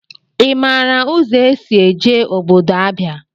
I maara ụzọ esị eje ọbọdọ Abịa?